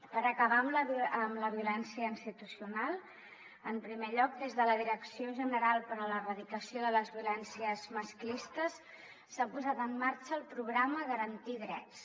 per acabar amb la violència institucional en primer lloc des de la direcció general per a l’erradicació de les violències masclistes s’ha posat en marxa el programa garantir drets